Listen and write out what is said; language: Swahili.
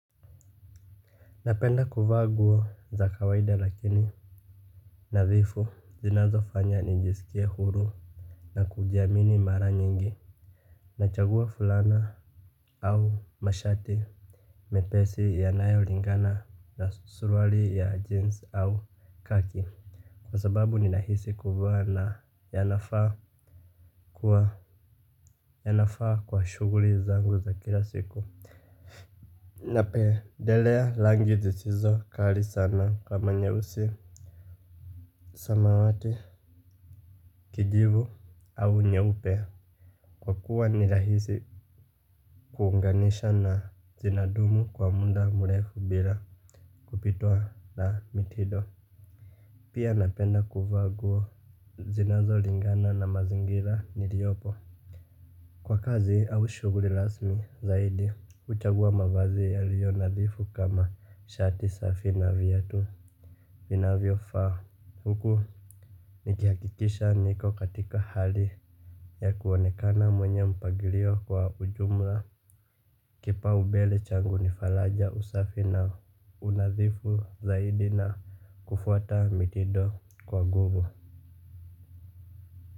Napenda kuvaa nguo za kawaida lakini nathifu zinazofanya nijisikie huru. Na kujiamini mara nyingi nachagua fulana au mashati mepesi yanayolingana na suruali ya jeans au kaki. Kwa sababu ninahisi kuvaa na yanafaa kuwa yanafaa kwa shughuli zangu za kila siku. Napendelea rangi zisizo kali sana kama nyeusi Samawati Kijivu au nyeupe. Kwa kuwa ni rahisi kuunganisha na zinadumu kwa muda mrefu bila kupitwa na mitindo. Pia napenda kuvaa nguo zinazolingana na mazingira niliyopo. Kwa kazi au shughuli rasmi zaidi huchagua mavazi yaliyo nadhifu kama shati safi na viatu vinavyofaa huku nikihakikisha niko katika hali ya kuonekana mwenye mpangilio kwa ujumla. Kipaumbele changu ni faraja usafi na unadhifu zaidi na kufuata mitindo kwa nguvu.